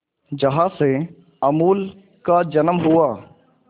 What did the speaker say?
जहां से अमूल का जन्म हुआ